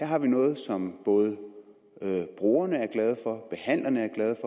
har vi noget som både brugerne er glade for behandlerne er glade